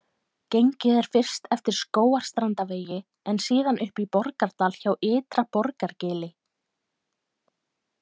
Gengið er fyrst eftir Skógarstrandarvegi en síðan upp í Borgardal hjá Ytra- Borgargili.